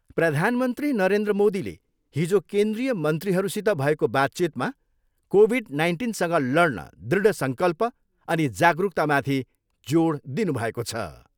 प्रधानमन्त्री नरेन्द्र मोदीले हिजो केन्द्रीय मन्त्रीहरूसित भएको बातचितमा कोभिड नाइन्टिनसँग लड्न दृढ सङ्कल्प अनि जागरुकतामाथि जोड दिनुभएको छ।